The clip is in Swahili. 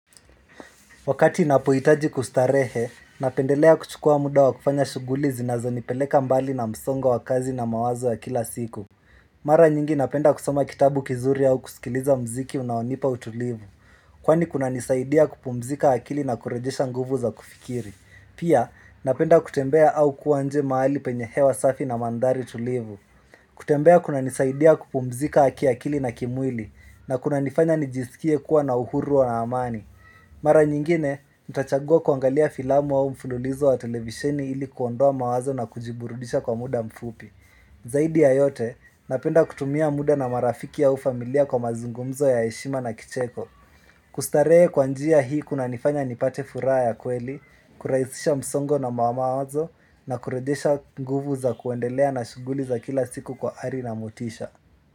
Wakati napoitaji kustarehe, napendelea kuchukua muda wa kufanya shuguli zinazonipeleka mbali na msongo wa kazi na mawazo wa kila siku Mara nyingi napenda kusoma kitabu kizuri au kusikiliza mziki unaonipa utulivu Kwani kunanisaidia kupumzika akili na kurejesha nguvu za kufikiri Pia napenda kutembea au kuwa nje mahali penye hewa safi na mandhari tulivu kutembea kunanisaidia kupumzika kiakili na kimwili na kunanifanya nijisikie kuwa na uhuru wa amani Mara nyingine, nitachagua kuangalia filamu au mfululizo wa televisheni ili kuondoa mawazo na kujiburudisha kwa muda mfupi. Zaidi ya yote, napenda kutumia muda na marafiki au familia kwa mazungumzo ya heshima na kicheko. Kustarehe kwa njia hii kunanifanya nipate furaha ya kweli, kuraisisha msongo na mawazo na kurejesha nguvu za kuendelea na shuguli za kila siku kwa ari na motisha.